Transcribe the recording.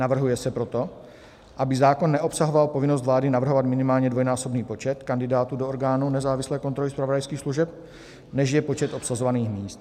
Navrhuje se proto, aby zákon neobsahoval povinnost vlády navrhovat minimálně dvojnásobný počet kandidátů do orgánů nezávislé kontroly zpravodajských služeb, než je počet obsazovaných míst.